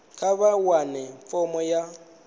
kha vha wane fomo ya